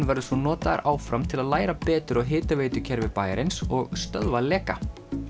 verður svo notaður áfram til að læra betur á hitaveitukerfi bæjarins og stöðva leka